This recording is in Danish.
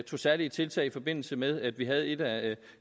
tog særlige tiltag i forbindelse med at vi havde et af